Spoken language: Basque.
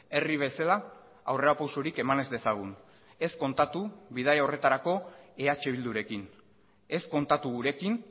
herri bezala aurrerapausorik eman ez dezagun ez kontatu bidaia horretarako eh bildurekin ez kontatu gurekin